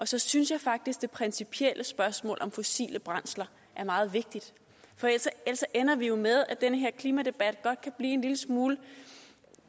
så synes jeg faktisk at det principielle spørgsmål om fossile brændsler er meget vigtigt for ellers ender vi jo med at den her klimadebat godt kan blive en lille smule